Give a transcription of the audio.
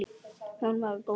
Hún var góð kona.